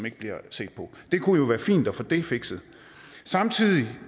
ikke bliver set på det kunne jo være fint at få det fikset samtidig